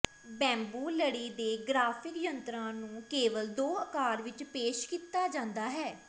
bamboo ਲੜੀ ਦੇ graphic ਯੰਤਰਾਂ ਨੂੰ ਕੇਵਲ ਦੋ ਅਕਾਰ ਵਿੱਚ ਪੇਸ਼ ਕੀਤਾ ਜਾਂਦਾ ਹੈ